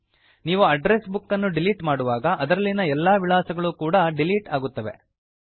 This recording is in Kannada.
ನೀವು ಅಡ್ಡ್ರೆಸ್ ಬುಕ್ ಅನ್ನು ಡಿಲೀಟ್ ಮಾಡುವಾಗ ಅದರಲ್ಲಿನ ಎಲ್ಲಾ ವಿಳಾಸಗಳು ಕೂಡ ಡಿಲೀಟ್ ಆಗುತ್ತವೆ